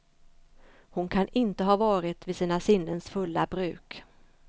Hon kan inte ha varit vid sina sinnens fulla bruk.